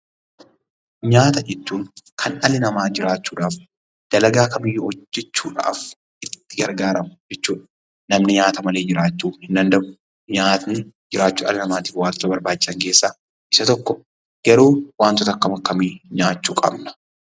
Nyaata jechuun kan dhalli namaa jiraachuudhaaf, dalagaa kamiyyuu hojjechuudhaaf itti gargaaramu jechuu dha. Namni nyaata malee jiraachuu hin danda'u. Nyaanni jiraachuu dhala namaatiif wantoota barbaachisan keessaa isa tokko. Garuu wantoota akkam akkamii nyaachuu qabna?